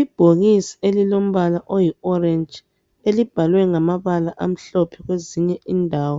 Ibhokisi elilombala oyi orentshi, elibhalwe ngamabala amhlophe kwezinye indawo.